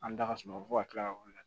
An da sunɔgɔ fo ka kila ka wuli